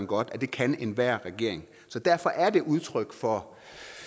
godt at det kan enhver regering derfor er det udtryk for